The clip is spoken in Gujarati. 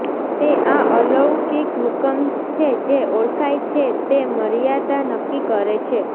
તે આ અલૌકિક હુકમ છે જે ઓળખાય છે તે મર્યાદા નક્કી કરે છે